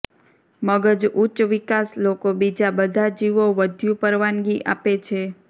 મગજ ઉચ્ચ વિકાસ લોકો બીજા બધા જીવો વધ્યુ પરવાનગી આપે છે